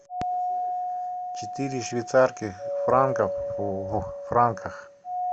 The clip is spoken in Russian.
четыре швейцарских франков в франках